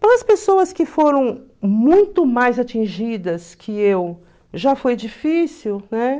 as pessoas que foram muito mais atingidas que eu, já foi difícil, né?